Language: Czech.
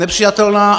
Nepřijatelná.